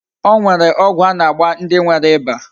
O nwere ogwu a na-agba ndi nwere iba.